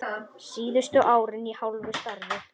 Síðustu árin í hálfu starfi.